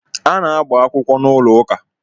A na-agbakwụkwọ n'ụlọ ụka